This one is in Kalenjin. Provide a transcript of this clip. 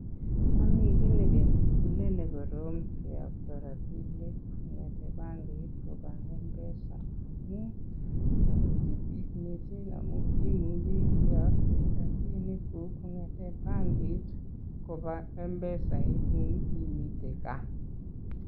Momi kiy nekebune nekorom kiyoktoi rabinik kong'eten bankit koba Mpesa amun ta kityo kit ne amun imuchi iyokte rabinikug kong'ete bankit koba Mpesa en imiten gaa.